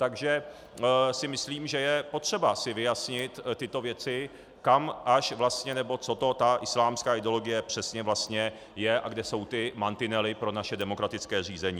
Takže si myslím, že je potřeba si vyjasnit tyto věci, kam až vlastně - nebo co to ta islámská ideologie přesně vlastně je a kde jsou ty mantinely pro naše demokratické zřízení.